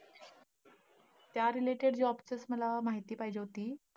त्या related job साठी मला माहिती पाहिजे होती.